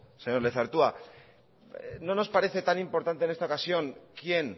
señor lezertua no nos parece tan importante en esta ocasión quién